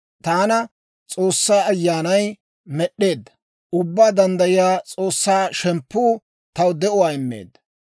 Taana S'oossaa Ayyaanay med'd'eedda; Ubbaa Danddayiyaa S'oossaa shemppuu taw de'uwaa immeedda.